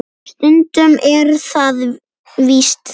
Stundum er það víst þannig!